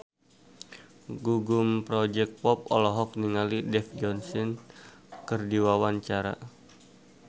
Gugum Project Pop olohok ningali Dev Joshi keur diwawancara